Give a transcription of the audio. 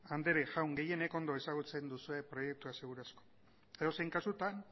andere jaun gehienek ondo ezagutzen duzue proiektua seguru asko edozein kasutan